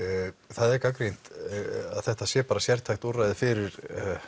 það er gagnrýnt að þetta sé bara sértækt úrræði fyrir